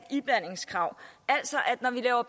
iblandningskrav altså at